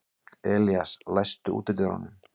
Elías, læstu útidyrunum.